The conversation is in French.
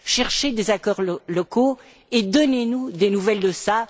Cherchez des accords locaux et donnez nous des nouvelles de cela.